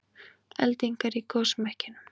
Eldingar í gosmekkinum